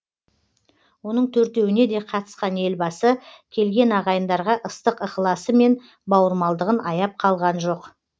оның төртеуіне де қатысқан елбасы келген ағайындарға ыстық ықыласы мен бауырмалдығын аяп қалған жоқ